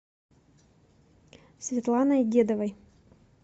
светланой дедовой